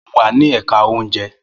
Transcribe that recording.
Mo wà ní èka oúnjẹ